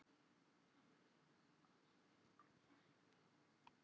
Já, góðan daginn. er þetta hjá Katli Friðþjófssyni, skólastjóra?